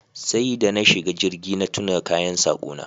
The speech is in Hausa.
Sai da na shiga jirgi na tuna kayan sako na